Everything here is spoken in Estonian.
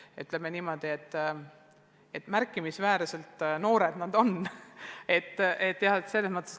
Aga ütleme niimoodi, et need inimesed on siiski märkimisväärselt noored.